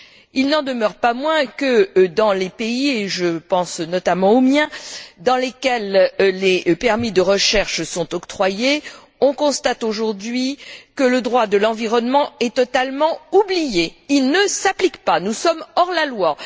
Il n'en demeure pas moins que dans les pays, et je pense notamment au mien, dans lesquels les permis de recherche sont octroyés, on constate aujourd'hui que le droit de l'environnement est totalement oublié, il ne s'applique pas, nous sommes hors la loi.